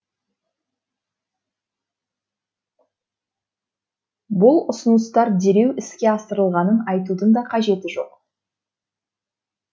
бұл ұсыныстар дереу іске асырылғанын айтудың да қажеті жоқ